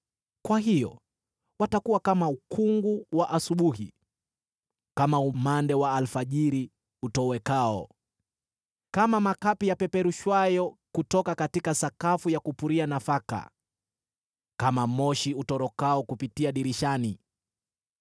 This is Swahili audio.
Kwa hiyo watakuwa kama ukungu wa asubuhi, kama umande wa alfajiri utowekao, kama makapi yapeperushwayo kutoka sakafu ya kupuria nafaka, kama moshi utorokao kupitia dirishani.